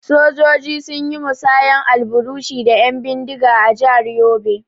Sojoji sun yi musayar alburushi da 'yan bindiga a jihar Yobe.